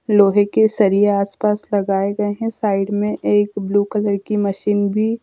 लोहे के सरिया आस-पास लगाए गए है। साइड में एक ब्लू कलर की मशीन भी--